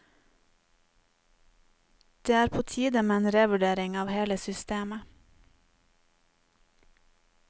Det er på tide med en revurdering av hele systemet.